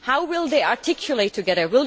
How will they articulate together?